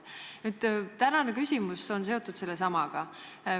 Minu tänane küsimus on seotud sellesamaga.